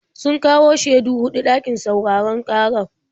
Sun kawo shaidu huɗu ɗakin sauraron ƙarar.